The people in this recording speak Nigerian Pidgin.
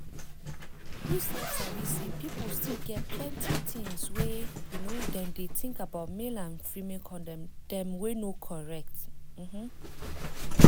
you sef sabi say pipu still get plenty things wey um dem dey think about male and female condom dem wey no correct. um